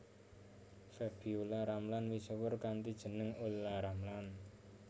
Febiola Ramlan misuwur kanthi jeneng Olla Ramlan